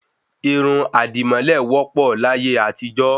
Irun àdìmọ́lẹ̀ wọ́ pọ̀ láyé àtijọ́